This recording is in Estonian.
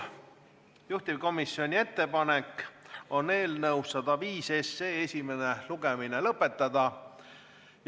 Juhtivkomisjoni ettepanek on eelnõu 105 esimene lugemine lõpetada.